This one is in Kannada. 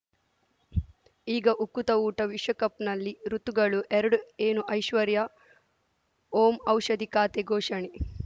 ಈಗ ಉಕುತ ಊಟ ವಿಶ್ವಕಪ್‌ನಲ್ಲಿ ಋತುಗಳು ಎರಡು ಏನು ಐಶ್ವರ್ಯಾ ಓಂ ಔಷಧಿ ಖಾತೆ ಘೋಷಣೆ